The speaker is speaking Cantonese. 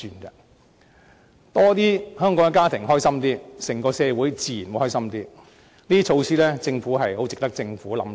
更多香港家庭感到開心，整個社會自然也比較歡樂，這些措施是十分值得政府考慮。